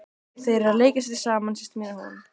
Þær eru að leika sér saman, systir mín og hún.